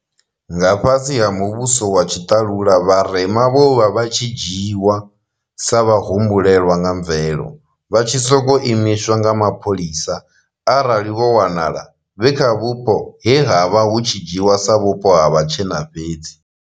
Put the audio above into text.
Nga fhasi ha muvhuso wa tshiṱalula, vharema vho vha vha tshi dzhiiwa sa vhahumbulelwa nga mvelo, vha tshi sokou imiswa nga mapholisa arali vho wanala vhe kha vhupo he ha vha hu tshi dzhiiwa sa vhupo ha vhatshena fhedzi.